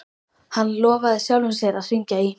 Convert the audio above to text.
Hann lofaði sjálfum sér að hringja í